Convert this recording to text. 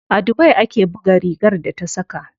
A dubai ake buga rigar da ta saka.